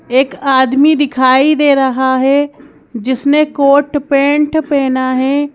एक आदमी दिखाई दे रहा है जिसने कोट पेंट पहना है।